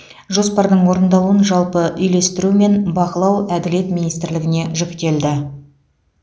жоспардың орындалуын жалпы үйлестіру мен бақылау әділет министрлігіне жүктелді